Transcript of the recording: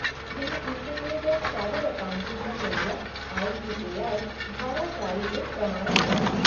यह institute of chartered accountant of India, I C A I, द्वारा जारी एक प्रमाणन है।